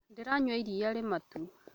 Ndĩranyua iria rĩ matu